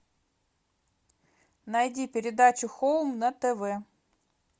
найди передачу хоум на тв